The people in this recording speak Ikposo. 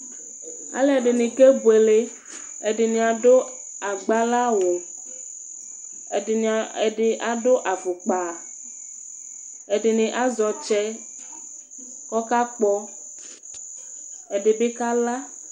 Alʋɛdini kebʋele, ɛdini adʋ agbara awʋ, ɛdini adʋ afʋkpa, ɛdini azɛ ɔtsɛ kʋ ɔkakpɔ, ɛdibi kala